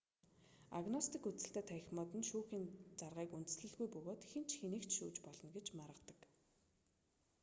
агностик үзэлтэй танхимууд нь шүүхийн заргыг үндэслэлгүй бөгөөд хэн ч хэнийг ч шүүж болно гэж маргадаг